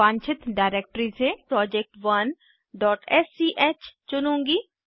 मैं वांछित डिरेक्टरी से project1स्क चुनूँगी